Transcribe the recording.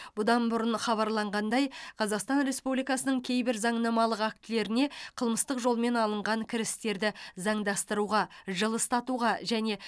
бұдан бұрын хабарланғандай қазақстан республикасының кейбір заңнамалық актілеріне қылмыстық жолмен алынған кірістерді заңдастыруға жылыстатуға және